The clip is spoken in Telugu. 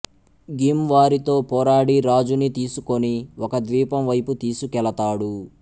గిం వారితో పోరాడి రాజుని తీసుకొని ఒక ద్వీపంవైపు తీసుకెళతాడు